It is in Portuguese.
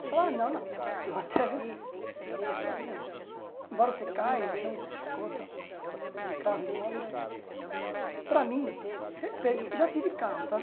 Você fala, ah, não, não, eu até respeito, mas para mim é. Embora você caia, machucou, tal, de carro e moto, é. Para mim, respeito, já tive carro, tá?